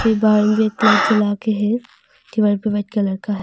ये बाहर मे एक लाइट जला के है दीवार पे व्हाइट कलर का ह--